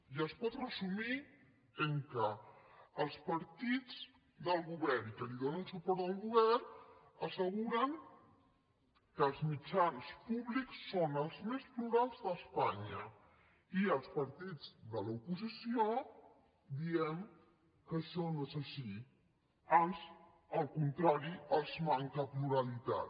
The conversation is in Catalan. i es pot resumir en el fet que els partits del govern i que donen suport al govern asseguren que els mitjans públics són els més plurals d’espanya i els partits de l’oposició diem que això no és així ans al contrari els manca pluralitat